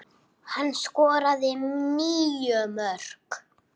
Hann skoraði níu mörk.